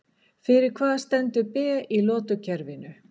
Fyrir hvað stendur Be í lotukerfinu?